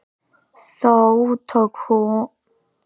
þó tók hann sighvat bráðlega í sátt